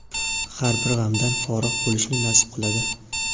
har bir g‘amdan forig‘ bo‘lishni nasib qiladi.